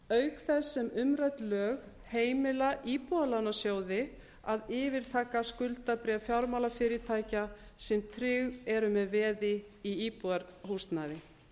auk þess sem umrædd lög heimila íbúðalánasjóði að yfirtaka skuldabréf fjármálafyrirtækja sem tryggð eru með veði í íbúðarhúsnæði